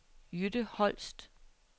Jytte Holst